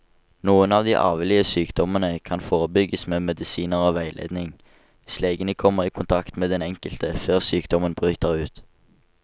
Noen av de arvelige sykdommene kan forebygges med medisiner og veiledning, hvis legene kommer i kontakt med den enkelte før sykdommen bryter ut.